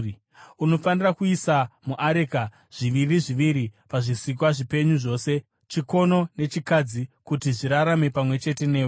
Unofanira kuisa muareka zviviri zviviri pazvisikwa zvipenyu zvose, chikono nechikadzi, kuti zvirarame pamwe chete newe.